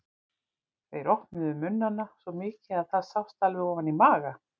Þeir opnuðu munnana svo mikið að það sást alveg ofan í maga.